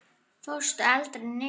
Fórstu aldrei niður?